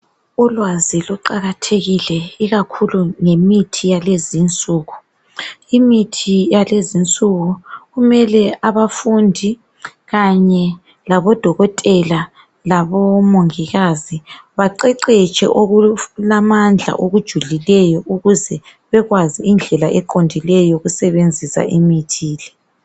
Ulwazi luqakathekile ikakhulu ngemithi yalezi insuku, imithi yalezinsuku kumele abafundi kanye labodokotela labomongikazi baqeqetshe okulamandla okujulileyo ukuze bekwazi indlela eqondileyo yokusebenzisa imithi le.